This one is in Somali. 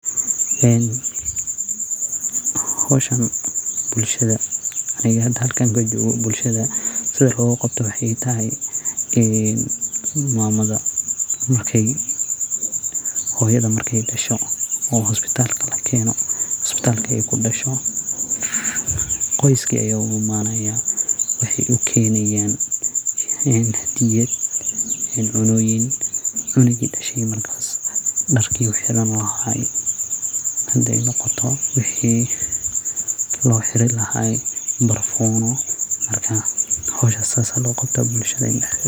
Howshan bulshada sidi logaqabto waxay tahay, hoyada markey dasho oo isbitalka kudasho qoyska aya uimana wexey ukenayan hadiyad, cuntoyin iyo cunuga dashe darki uu xirani lahay barfun marka howsha sidas loqabta bulshada dhexdeda.